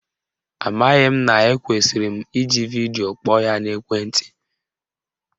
Amaghị m na ekwesiri m iji vidio kpọọ ya n'ekwenti